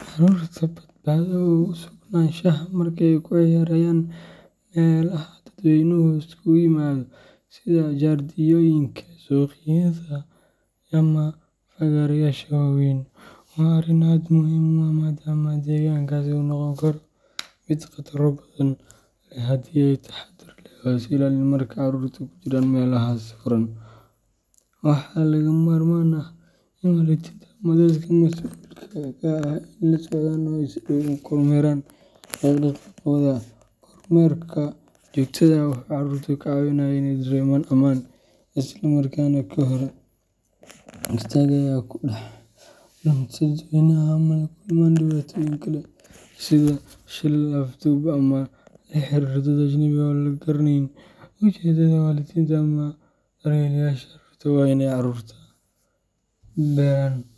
Carruurta badbaado ugu sugnaanshaha marka ay ku ciyaarayaan meelaha dadweynuhu isugu yimaado, sida jardiinooyinka, suuqyada, ama fagaarayaasha waaweyn, waa arrin aad muhiim u ah maadaama deegaankaasi uu noqon karo mid khataro badan leh haddii aan si taxaddar leh loo ilaalin. Marka carruurtu ku jiraan meelahaas furan, waxaa lagama maarmaan ah in waalidiinta ama dadka masuulka ka ah ay la socdaan oo ay si dhow u kormeeraan dhaqdhaqaaqyadooda. Kormeerka joogtada ah wuxuu carruurta ka caawinayaa inay dareemaan ammaan, isla markaana ka hor istaagaya inay ku dhex lunto dadweynaha ama ay la kulmaan dhibaatooyin kale sida shilal, afduub, ama la xiriirka dad ajnabi ah oo aan la garanayn ujeedadooda. Waalidiinta ama daryeelayaasha carruurta waa inay carruurta